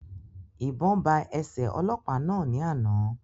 Ìbọn ba ẹsẹ ọlọ́pàá náà ní àna